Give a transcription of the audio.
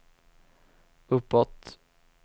uppåt